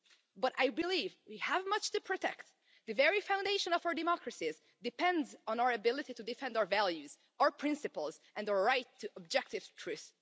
But I believe we have much to protect the very foundation of our democracies depends on our ability to defend our values, our principles, and the right to objective truth.